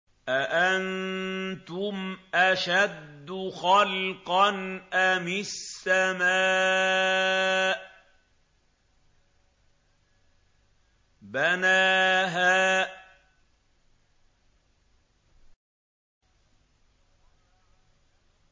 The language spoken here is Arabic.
أَأَنتُمْ أَشَدُّ خَلْقًا أَمِ السَّمَاءُ ۚ بَنَاهَا